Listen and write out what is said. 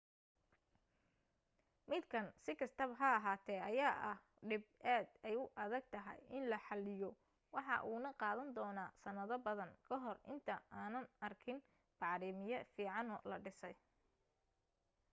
midkan si kastaba ha ahaate ayaa ah dhib aad ay u adag tahay in la xaliyo waxa uuna qaadan doona sanado badan kahor inta aanan arkin bacriimiye fiicano la dhisay